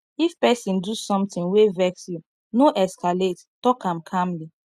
if person do something wey vex you no escalate talk am calmly